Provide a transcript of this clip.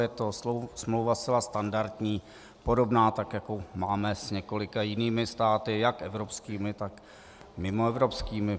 Je to smlouva zcela standardní, podobná těm, jaké máme s několika jinými státy jak evropskými, tak mimoevropskými.